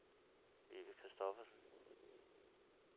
Vivi Kristoffersen